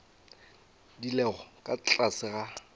di lego ka tlase ga